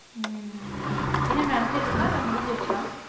உம் என்ன நடந்துட்டு இருக்கா இல்லை முடிஞ்சிருச்சா